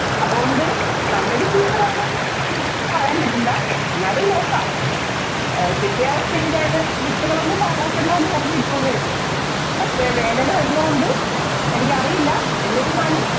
അതുകൊണ്ട് നല്ലൊരു എനിക്ക് പറയാന്‍ പറ്റില്ല. എന്നാലും നോക്കാം. കിട്ടിയ അവസ്ഥക്ക് ഞാന് വിത്തുകള്‍ ഒന്നും പാഴാക്കണ്ട എന്ന് പറഞ്ഞൂന്നു ഇട്ടു എന്നേയുള്ളൂ.